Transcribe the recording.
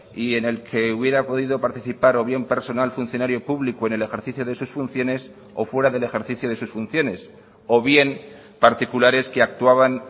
y en el que hubiera podido participar o bien personal funcionario público en el ejercicio de sus funciones o fuera del ejercicio de sus funciones o bien particulares que actuaban